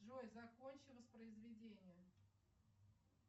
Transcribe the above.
джой закончи воспроизведение